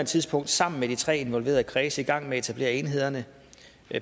tidspunkt sammen med de tre involverede kredse i gang med at etablere enhederne